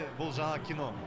бұл жаңа кино